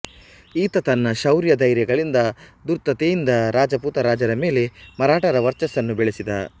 ಈತ ತನ್ನ ಶೌರ್ಯ ಧೈರ್ಯಗಳಿಂದ ಧೂರ್ತತೆಯಿಂದ ರಜಪುತ ರಾಜರ ಮೇಲೆ ಮರಾಠರ ವರ್ಚಸ್ಸನ್ನು ಬೆಳೆಸಿದ